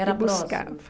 ela buscava.